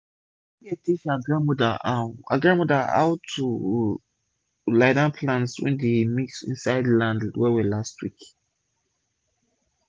dat girl bin teach her grandmother how grandmother how to lie down plents wey dem mix insid land wel-wel last week